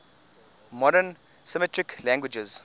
modern semitic languages